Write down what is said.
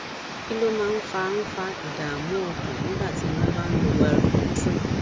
kí ló máa ń fa ń fa ìdààmú ọkàn nígbà tí wọn bá ń lo wellbutrin